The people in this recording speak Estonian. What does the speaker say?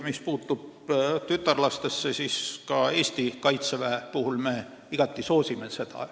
Mis puutub tütarlastesse, siis me igati soosime neid ka Eesti kaitseväe puhul.